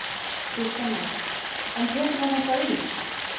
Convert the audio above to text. Kristján Már: En tekur hann eitthvað í?